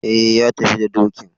E, ya tafi da dokin.